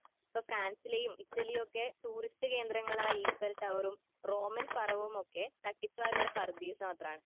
.ഇപ്പൊ ഫ്രാൻസിലെയും ഇറ്റലിയൊക്കെ ടൂറിസ്റ്റ് കേന്ദ്രങ്ങളായ ഈഫൽ ടവറും റോമൻ ഒക്കെ തട്ടിപ്പുകാരുടെ പറുദീസ യൊക്കെയാണ്.